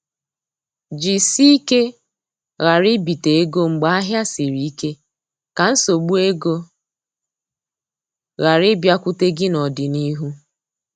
Jisike ghara ibite ego mgbe ahịa siri ike, ka nsogbu ego ghara ịbịakwute gị n'ọdịnihu